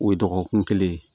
O ye dɔgɔkun kelen ye